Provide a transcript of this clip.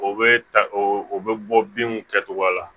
O bɛ ta o bɛ bɔ binw kɛcogoya la